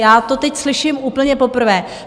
Já to teď slyším úplně poprvé.